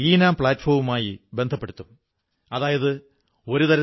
അതായത് ജ്ഞാനത്തിനു തുല്യം പവിത്രമായ ഒന്നുംതന്നെ ലോകത്തില്ല